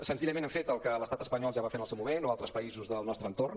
senzillament hem fet el que l’estat espanyol ja va fer en el seu moment o altres països del nostre entorn